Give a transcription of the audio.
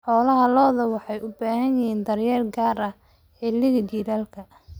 Lo'da caanaha waxay u baahan yihiin daryeel gaar ah xilliga jiilaalka.